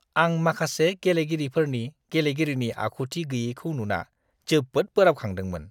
आं माखासे गेलेगिरिफोरनि गेलेगिरिनि आखुथि गैयैखौ नुना जोबोद बोराबखांदोंमोन!